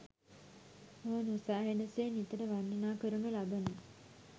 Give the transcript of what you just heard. මුවනොසෑහෙන සේ නිතර වර්ණනා කරනු ලබන